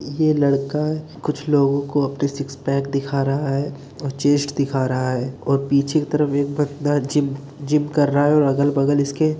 ये लड़का कुछ लोगों को अपने सिक्स पैक दिखा रहा है और चेस्ट दिखा रहा है और पीछे की तरफ एक बंदा जिम जिम कर रहा है और अगल-बगल इसके --